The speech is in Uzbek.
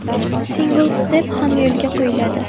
Single Step ham yo‘lga qo‘yiladi.